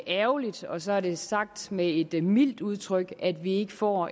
ærgerligt så er det sagt med et et mildt udtryk at vi ikke får